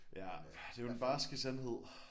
Ja det er den barske sandhed